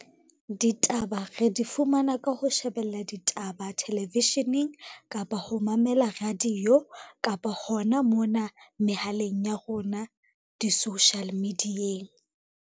Ditaba re di fumana ka ho shebella ditaba television-eng, kapa ho mamela radio, kapa hona mona mehaleng ya rona di-social media-eng.